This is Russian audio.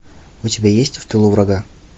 у тебя есть в тылу врага